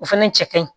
O fɛnɛ cɛ ka ɲi